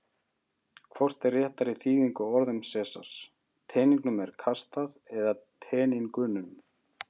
Hvort er réttari þýðing á orðum Sesars: Teningnum er kastað eða Teningunum?